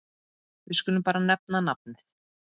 Við skulum bara nefna nafnið.